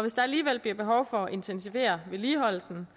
hvis der alligevel bliver behov for at intensivere vedligeholdelsen